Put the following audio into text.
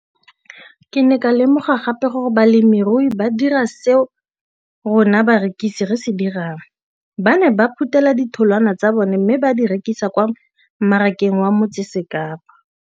Ke ne ka lemoga gape gore balemirui ba dira seo rona barekisi re se dirang, ba ne ba phuthela ditholwana tsa bona mme ba di rekisa kwa marakeng wa Motsekapa.